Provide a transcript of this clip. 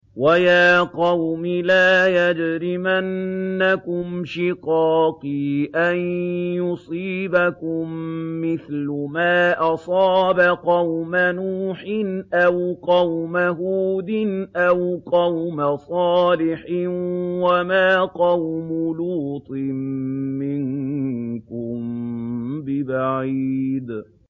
وَيَا قَوْمِ لَا يَجْرِمَنَّكُمْ شِقَاقِي أَن يُصِيبَكُم مِّثْلُ مَا أَصَابَ قَوْمَ نُوحٍ أَوْ قَوْمَ هُودٍ أَوْ قَوْمَ صَالِحٍ ۚ وَمَا قَوْمُ لُوطٍ مِّنكُم بِبَعِيدٍ